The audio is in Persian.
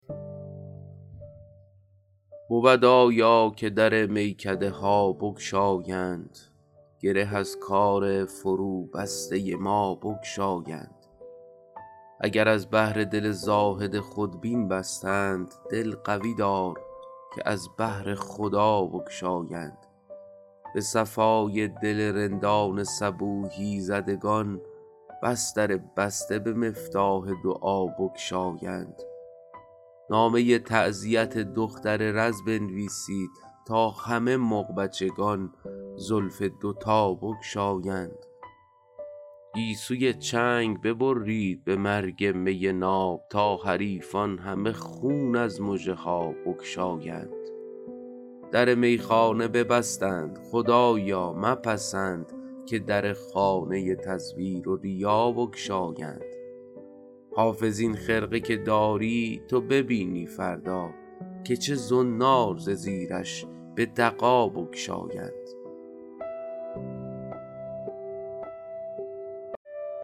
بود آیا که در میکده ها بگشایند گره از کار فروبسته ما بگشایند اگر از بهر دل زاهد خودبین بستند دل قوی دار که از بهر خدا بگشایند به صفای دل رندان صبوحی زدگان بس در بسته به مفتاح دعا بگشایند نامه تعزیت دختر رز بنویسید تا همه مغبچگان زلف دوتا بگشایند گیسوی چنگ ببرید به مرگ می ناب تا حریفان همه خون از مژه ها بگشایند در میخانه ببستند خدایا مپسند که در خانه تزویر و ریا بگشایند حافظ این خرقه که داری تو ببینی فردا که چه زنار ز زیرش به دغا بگشایند